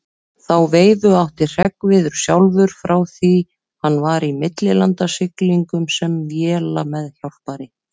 Þá veifu átti Hreggviður sjálfur frá því hann var í millilandasiglingum sem vélameðhjálpari.